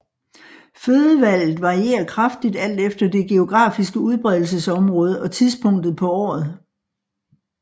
Fødevalget varierer kraftigt alt efter det geografiske udbredelsesområde og tidspunktet på året